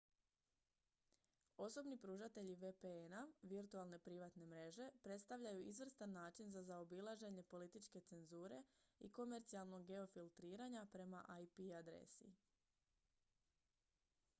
osobni pružatelji vpn-a virtualne privatne mreže predstavljaju izvrstan način za zaobilaženje političke cenzure i komercijalnog geofiltriranja prema ip adresi